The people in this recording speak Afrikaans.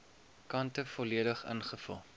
kante volledig ingevul